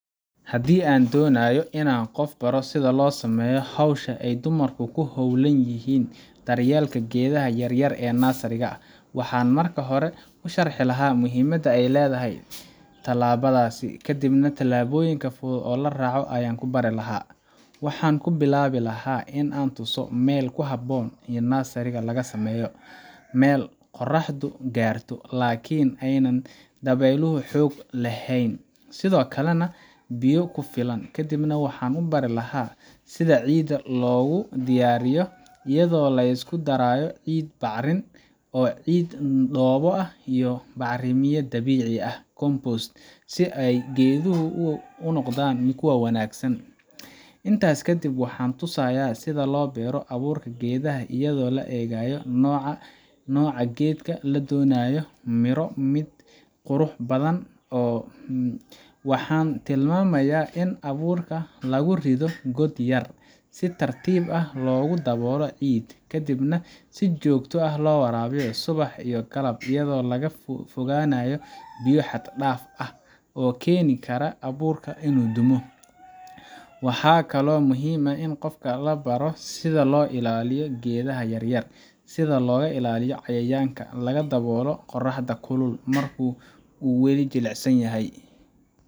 Haddii aan doonayo inaan qof baro sida loo sameeyo hawsha ay dumarku ku hayaan daryeelka geedaha yaryar ee nursery-ga, waxaan marka hore u sharxi lahaa muhiimadda ay leedahay tallaabadaas, kadibna tallaabooyin fudud oo la raaco ayaan ku bari lahaa. Waxaan ku bilaabi lahaa in aan tuso meel ku habboon in nursery laga sameeyo meel qorraxdu gaarto, laakiin aan dabaylo xoog leh lahayn, sidoo kalena leh biyo ku filan. Kadib waxaan u bari lahaa sida ciidda loogu diyaariyo, iyadoo la isku darayo ciid bacrin ah, ciid dhoobo ah, iyo bacramiye dabiici ah compost si ay geeduhu si wanaagsan ugu koraan. Intaas kadib, waxaan tusayaa sida loo beero abuurka geedaha iyadoo loo eegayo nooca geedka la doonayo mid miro ah, qurux badan , ama mid hadh leh. Waxaan tilmaamayaa in abuurka lagu rido god yar, si tartiib ahna loogu daboolo ciid, ka dibna si joogto ah loo waraabiyo subax iyo galab iyadoo laga fogaanayo biyo xad-dhaaf ah oo keeni kara in abuurka dumo. Waxaa kaloo muhiim ah in qofka la baro sida loo ilaaliyo geedaha yaryar sida looga ilaaliyo cayayaanka, laga daboolo qoraxda kulul marka ay weli jilicsan yahay,